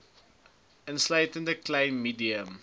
insluitende klein medium